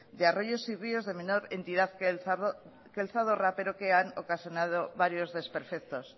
de arroyos y ríos de menor cantidad que el zadorra pero que han ocasionado varios desperfectos